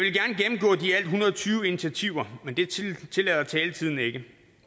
hundrede og tyve initiativer men det tillader taletiden ikke